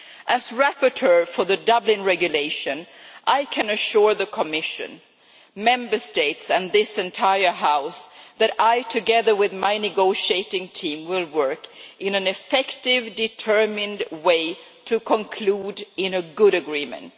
As rapporteur for the Dublin Regulation, I can assure the Commission, Member States and this entire House that I, together with my negotiating team, will work in an effective, determined way to conclude in a good agreement.